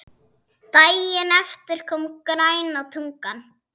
Daginn eftir kom græna tunnan.